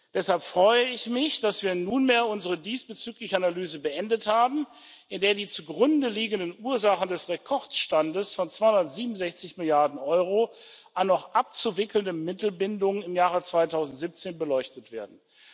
Deshalb freue ich mich, dass wir nunmehr unsere diesbezügliche Analyse beendet haben, in der die zugrunde liegenden Ursachen des Rekordstands von 267 Milliarden Euro an noch abzuwickelnden Mittelbindungen im Jahr 2017 beleuchtet werden.